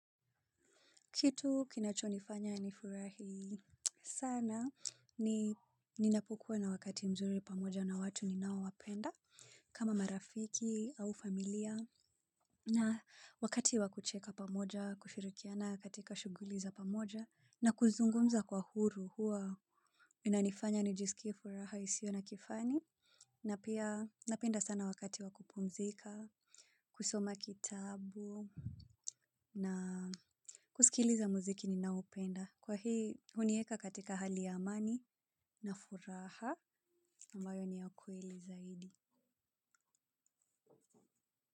Kitu kinacho nifanya ni furahi sana ni ninapokua na wakati mzuri pamoja na watu ninao wapenda kama marafiki au familia na wakati wakucheka pamoja kushirikiana katika shughuli za pamoja na kuzungumza kwa huru hua inanifanya nijisikie furaha isio na kifani na pia napenda sana wakati wa kupumzika kusoma kitabu na kusikiliza muziki ninaoupenda. Kwa hii, hunieka katika hali ya amani na furaha ambayo ni ya kweli zaidi.